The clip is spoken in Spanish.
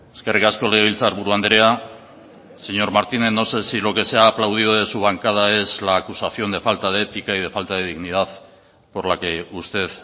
eskerrik asko legebiltzarburu andrea señor martínez no sé si lo que se ha aplaudido de su bancada es la acusación de falta de ética y de falta de dignidad por la que usted